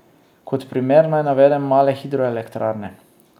Kot primer naj navedem male hidroelektrarne.